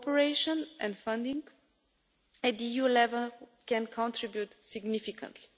Cooperation and funding at EU level can contribute significantly.